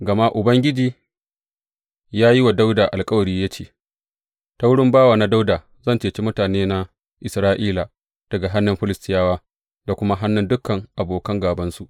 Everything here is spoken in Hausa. Gama Ubangiji ya yi wa Dawuda alkawari ya ce, Ta wurin bawana Dawuda zan ceci mutanena Isra’ila daga hannun Filistiyawa, da kuma hannun dukan abokan gābansu.’